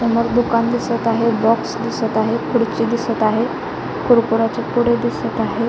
समोर दुकान दिसत आहे बॉक्स दिसत आहे खुर्ची दिसत आहे कुरकुरयाचे पुडे दिसत आहेत.